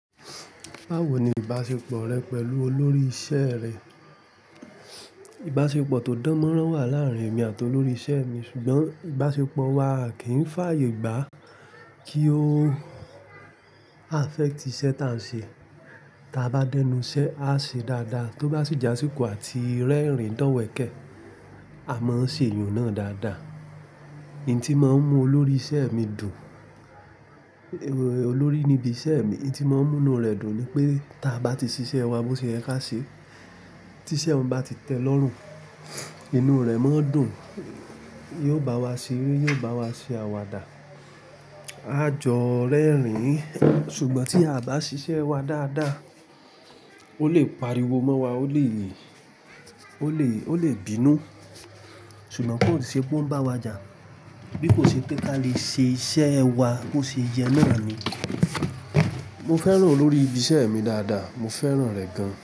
Báwo ni ìbáṣepọ̀ rẹ pẹ̀lú olórí iṣẹ́ rẹ? Ìbáṣepọ̀ tó dánmọ́nrán wà láàárín èmi àti olórí iṣẹ́ mi, ṣùgbọ́n ìbáṣepọ̀ wa kìí fàyè gbá kí ó affect iṣẹ́ taà ń ṣe. Tí a bá dẹ́nu iṣẹ́, a ṣe dáadáa, tó bá sì jásíko àti rẹ́rìn dọ̀wẹ̀kẹ̀, a máa ń ṣe ìyùn náà dáadáa. Ìdí tí màá ń mú olórí iṣẹ́ mi dùn, olórí ni ibi iṣẹ́ mi, ìdí tí mo ń mú inú rẹ̀ dùn ni pé tí a bá ti ṣiṣẹ́ wa bó ṣe yẹ ká ṣe, tí iṣẹ́ n ba ti tẹ́ lọ́rùn, inú rẹ̀ máa ń dùn. Yóò bá wa ṣeré, yóò bá wa ṣe àwàdà, a jọ rẹ́rìn-ín. Ṣùgbọ́n tí a bá ṣiṣẹ́ wa dáadáa, ó lè pariwo mọ́ wa, ó lè, ó lè, ó lè bínú. Ṣùgbọ́n kò ṣe pé ó ń bá wa jà. Bí kò ṣe pé ká lè ṣe iṣẹ́ wa bó ṣe yẹ náà ni. Mo fẹ́ràn olórí ibi iṣẹ́ mi dáadáa. Mo fẹ́ràn rẹ̀ gan.